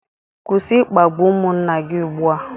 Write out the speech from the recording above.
Kwụsị ịkpagbu ụmụnna gị ugbu a